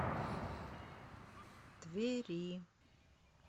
твери